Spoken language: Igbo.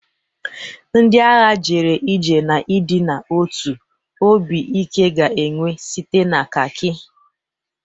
Ndị agha jere ije n'ịdị n'otu; obi ike ga-enwu site na khaki.